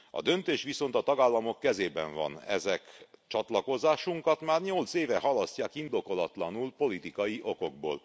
A döntés viszont a tagállamok kezében van, ezek csatlakozásunkat már nyolc éve halasztják indokolatlanul, politikai okokból.